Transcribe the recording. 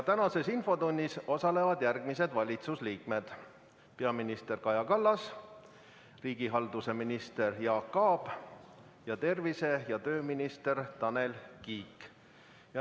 Tänases infotunnis osalevad järgmised valitsuse liikmed: peaminister Kaja Kallas, riigihalduse minister Jaak Aab ning tervise- ja tööminister Tanel Kiik.